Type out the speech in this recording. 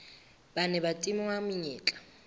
ba neng ba tingwa menyetla